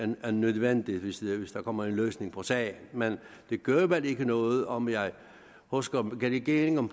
nødvendigt er hvis der kommer en løsning på sagen men det gør vel ikke noget om jeg husker regeringen